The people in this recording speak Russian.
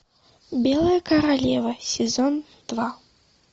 белая королева сезон два